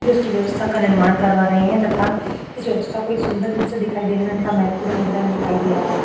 जो इसकी व्यवस्था का निर्माण करवा रहे है तथा इस व्यवस्था को एक सुन्दर रूप से दिखाई देने में उनका महत्वपूर्ण रूप दिखाई दे रहा है।